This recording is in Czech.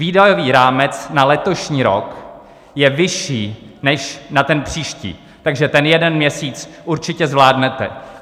Výdajový rámec na letošní rok je vyšší než na ten příští, takže ten jeden měsíc určitě zvládnete.